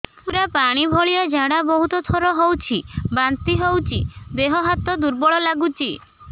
ପୁରା ପାଣି ଭଳିଆ ଝାଡା ବହୁତ ଥର ହଉଛି ବାନ୍ତି ହଉଚି ଦେହ ହାତ ଦୁର୍ବଳ ଲାଗୁଚି